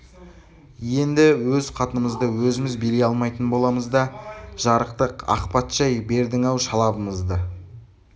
енді өз қатынымызды өзіміз билей алмайтын боламыз да жарықтық ақ патша-ай бердің-ау шалабымызды